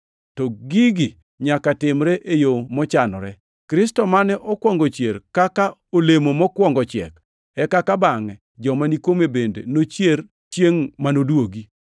To gigi nyaka timre e yo mochanore: Kristo mane okwongo chier kaka olemo mokwongo chiek, eka bangʼe joma ni kuome bende nochier chiengʼ manoduogi.